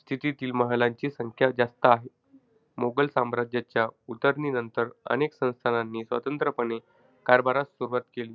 स्थितीतील महालांची संख्या जास्त आहे. मोगाल साम्राज्याच्या उतरणीनंतर अनेक संस्थानानी स्वतंत्रपणे कारभारास सुरुवात केली.